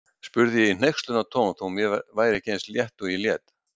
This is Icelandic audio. spurði ég í hneykslunartón þó mér væri ekki eins leitt og ég lét.